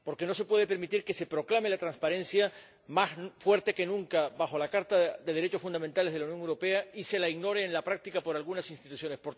Porque no se puede permitir que se proclame la transparencia más fuerte que nunca, bajo la Carta de los Derechos Fundamentales de la Unión Europea, y sea ignorada en la práctica por algunas instituciones.